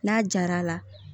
N'a jar'a la